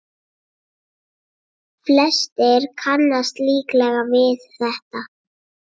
Flestir kannast líklega við þetta.